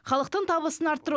халықтың табысын арттыру